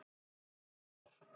Voru par